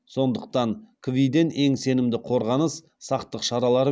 сондықтан кви ден ең сенімді қорғаныс сақтық шаралары